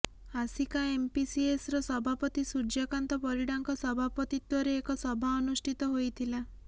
ଆସିକା ଏମପିସିଏସର ସଭାପତି ସୂର୍ଯ୍ୟକାନ୍ତ ପରିଡ଼ାଙ୍କ ସଭାପତିତ୍ୱରେ ଏକ ସଭା ଅନୁଷ୍ଠିତ ହୋଇଥିଲା